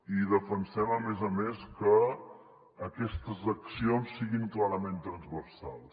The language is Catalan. i defensem a més a més que aquestes accions siguin clarament transversals